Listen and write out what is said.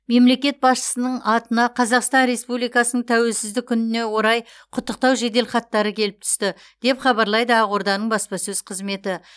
мемлекет басшысының атына қазақстан республикасының тәуелсіздік күніне орай құттықтау жеделхаттары келіп түсті деп хабарлайды ақорданың баспасөз қызметі